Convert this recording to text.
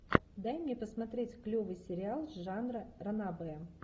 дай мне посмотреть клевый сериал жанра ранобэ